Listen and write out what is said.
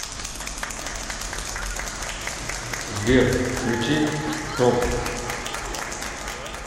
сбер включи троп